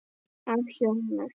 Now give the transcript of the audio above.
Af hjóna